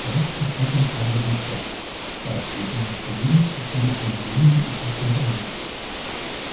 давайте посмотрим правде в лицо краткие дни нашей жизни проходят в унижении и тяжком труде